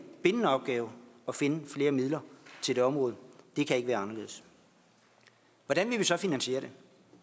bindende opgave at finde flere midler til det område det kan ikke være anderledes hvordan vil vi så finansiere det